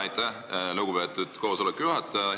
Aitäh, lugupeetud juhataja!